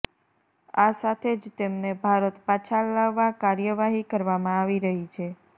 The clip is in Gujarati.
આ સાથે જ તેમને ભારત પાછા લાવવા કાર્યવાહી કરવામાં આવી રહી છે